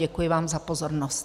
Děkuji vám za pozornost.